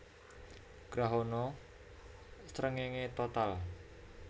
Grahana srengéngé total